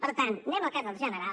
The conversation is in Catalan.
per tant anem al cas del general